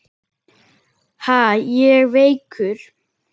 Ha, ég veikur!